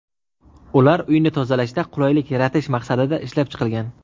Ular uyni tozalashda qulaylik yaratish maqsadida ishlab chiqilgan.